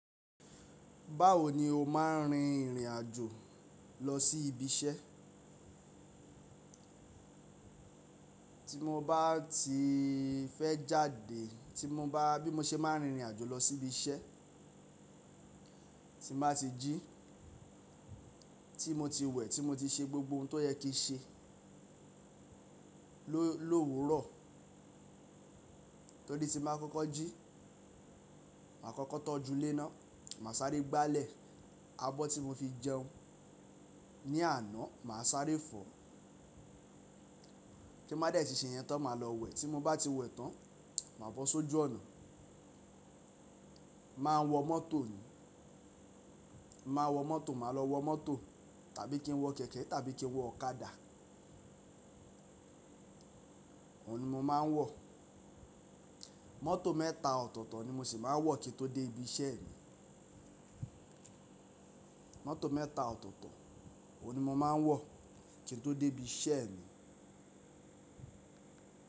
Báwo ni o máa ń rin ìrìn àjò lọ sí ibi iṣẹ́? Tí mo bá ti fẹ́ jáde, tí mo bá, bí mo ṣe máa ń rin ìrìn àjò lọ sí ibi iṣẹ́, tín bá ti jí, tí mo ti wẹ̀, tí mo ti ṣe gbogbo ohun tó yẹ kí n ṣe lóòwu rọ̀, torí tí báa kọ́kọ́ jí, màá kọ́kọ́ tọ́jú ile na, màá sáré gbálẹ̀ abọ́ tí mo fi jẹun ní àná, màá sáré fọ̀, ti n báa dé ti ṣe yẹn tán, màá lọ wẹ̀, tí mo bá ti wẹ̀ tán, màá bọ́ sójú ọ̀nà, màá wọ mọ́tò, màá wọ mọ́tò, màá lọ wọ mọ́tò tàbí kí n wọ kẹ̀kẹ́ tàbí kí n wọ ọ̀kadà, òun ni mo máa ń wọ. Mọ́tò mẹ́ta ọ̀tọ̀ọ̀tọ̀ ni mo sì máa ń wọ̀ kí n tó dé ibi iṣẹ́ mi. Mọ́tò mẹ́ta ọ̀tọ̀ọ̀tọ̀, òun ni mo máa ń wọ̀ kí n tó dé ibi iṣẹ́ mi.